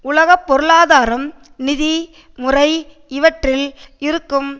உலக பொருளாதாரம் நிதி முறை இவற்றில் இருக்கும்